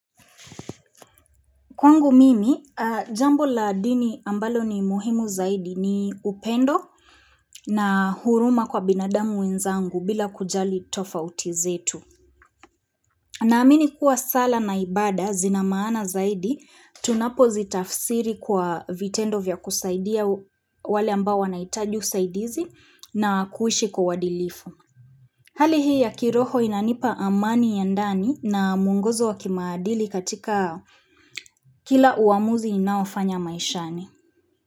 Kwangu mimi, jambo la dini ambalo ni muhimu zaidi ni upendo na huruma kwa binadamu wenzangu bila kujali tofauti zetu. Na amini kuwa sala na ibada, zinamaana zaidi, tunapo zitafsiri kwa vitendo vya kusaidia wale ambao wanaitaji usaidizi na kuishi kwa uadilifu. Hali hii ya kiroho inanipa amani ya ndani na muongozo wa kimaadili katika Kila uamuzi ninaofanya maishani.